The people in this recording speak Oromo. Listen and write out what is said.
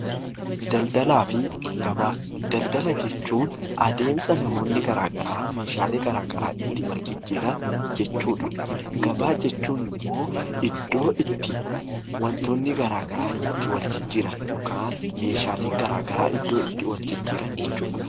Daldalaa fi gabaa Daldala jechuun adeemsa ilmi namaa Meeshaalee garaagaraa itti wal jijjiiran jechuudha. Gabaa jechuun immoo iddoo itti waantonni garaagaraa itti wal jijjiiran , Meeshaaleen garaagaraa bakka itti wal jijjiiran jechuudha.